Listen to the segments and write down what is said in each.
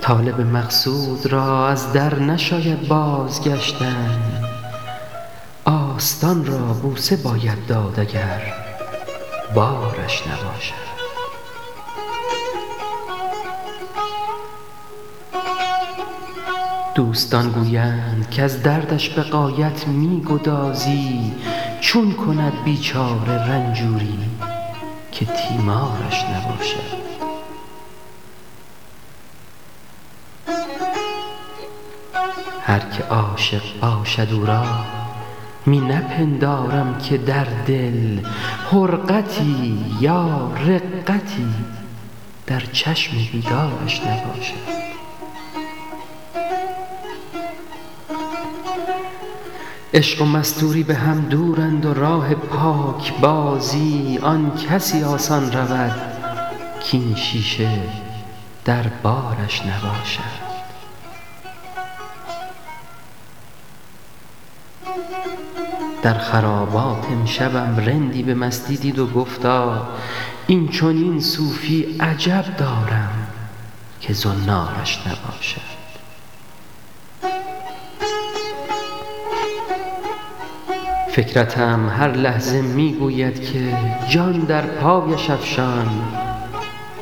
طالب مقصود را از در نشاید باز گشتن آستان را بوسه باید داد اگر بارش نباشد دوستان گویند کز دردش به غایت می گدازی چون کند بیچاره رنجوری که تیمارش نباشد هر که عاشق باشد او را می نپندارم که در دل حرقتی یا رقتی در چشم بیدارش نباشد عشق و مستوری بهم دورند و راه پاکبازی آن کسی آسان رود کین شیشه در بارش نباشد در خرابات امشبم رندی به مستی دید و گفتا این چنین صوفی عجب دارم که زنارش نباشد فکرتم هر لحظه میگوید که جان در پایش افشان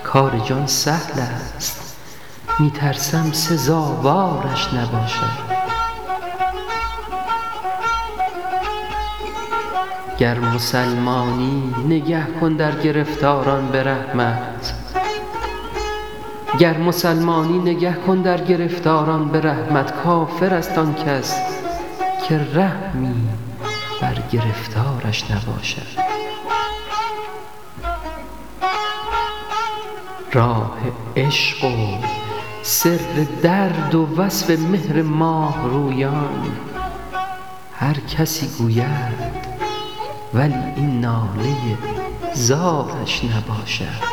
کار جان سهلست می ترسم سزاوارش نباشد گر مسلمانی نگه کن در گرفتاران به رحمت کافرست آن کس که رحمی بر گرفتارش نباشد راه عشق و سر درد و وصف مهر ماهرویان هر کسی گوید ولی این ناله زارش نباشد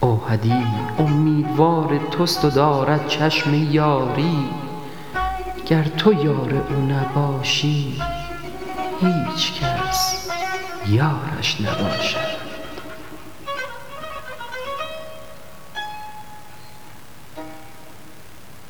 اوحدی امیدوار تست و دارد چشم یاری گر تو یار او نباشی هیچ کس یارش نباشد